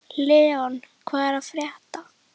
Leon, hvað er að frétta?